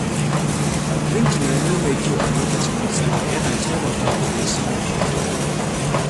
Yin tunani mai kyau a lokacin matsala yana taimakawa wajen samun mafita.